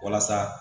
Walasa